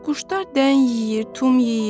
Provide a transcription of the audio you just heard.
Quşlar dən yeyir, tum yeyir.